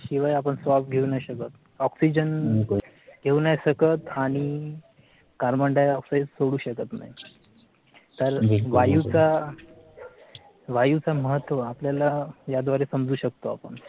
शिवाय आपण श्वास घेऊ नाय शकत. oxygen घेऊ नाय शकत आणि cabondioxide सोडू शकत नाही. तर वायूचा वायूचा महत्व आपल्याला याद्वारे समजू शकतो आपण.